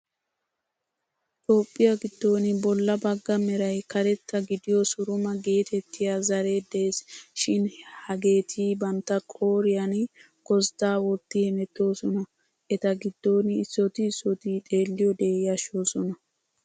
Toophphiya giddon bolla bagga Meray karetta gidiyo suruma geettettiyaa zaaree des. Shin hageeti bantta qooriyan gozddaa wotti hemettooson eta giddon issooti issooti xeelliyoode yashshoosona.